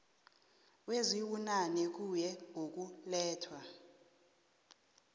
kwezibunane kuye ngokulethwa